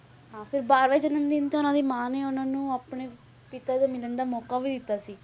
ਹਾਂ ਫਿਰ ਬਾਰਵੇਂ ਜਨਮ ਦਿਨ ਤੇ ਉਹਨਾਂ ਦੀ ਮਾਂ ਨੇ ਉਹਨਾਂ ਨੂੰ ਆਪਣੇ ਪਿਤਾ ਦੇ ਮਿਲਣ ਦਾ ਮੌਕਾ ਵੀ ਦਿੱਤਾ ਸੀ,